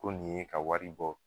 Ko nin ye ka wari bɔ.